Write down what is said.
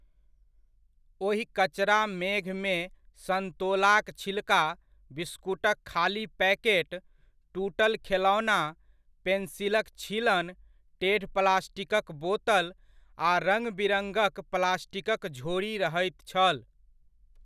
ओहि कचरा मेघमे सन्तोलाक छिलका, बिस्कुटक खाली पैकेट, टूटल खेलौना, पेन्सिलक छीलन, टेढ़प्लास्टिकक बोतल आ रङ्गबिरङ्गक प्लास्टिकक झोरी रहैत छल।